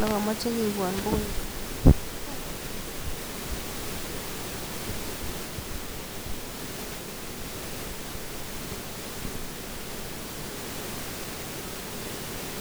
Yon miten tuguk Che amache keibwon agoi Ole ami koagoitoi direction nebo oret ne mongu agoi Ole amii aarorchini Ole bunu oret ak amwachi alenji Imuch kobun ne kot komiten karit nekebunu neteteu